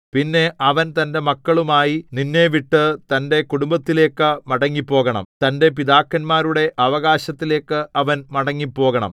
പിന്നെ അവൻ തന്റെ മക്കളുമായി നിന്നെ വിട്ടു തന്റെ കുടുംബത്തിലേക്ക് മടങ്ങിപ്പോകണം തന്റെ പിതാക്കന്മാരുടെ അവകാശത്തിലേക്ക് അവൻ മടങ്ങിപ്പോകണം